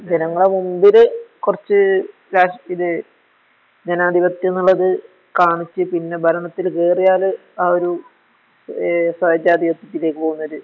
ജനങ്ങള്ടെ മുൻപില് കൊറച്ച് രാഷ് ഇത് ജനാധിപത്യയൊന്നൊള്ളത് കാണിച്ച് പിന്നെ ഭരണത്തില്‌ കേറിയാല് ആ ഒരു ഏഹ് സോച്ഛാധിപത്യത്തിലേക്ക് പോണൊരു